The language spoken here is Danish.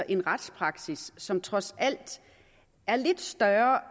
en retspraksis som trods alt er lidt større